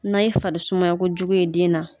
N'a ye farisumakojugu ye den na.